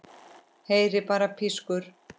Heyri bara pískur.